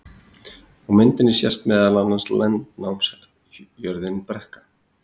á myndinni sést meðal annars landnámsjörðin brekka